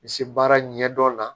Misi baara ɲɛdɔn la